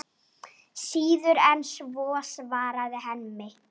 Síður en svo, svarar Hemmi.